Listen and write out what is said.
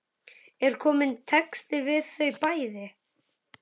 Er kominn texti við þau bæði?